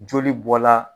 Joli bɔ la